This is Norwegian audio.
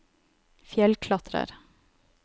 fjellklatrer